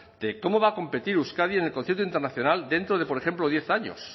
de cómo va a competir euskadi en el concierto internacional dentro de por ejemplo diez años